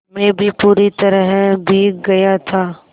मैं भी पूरी तरह भीग गया था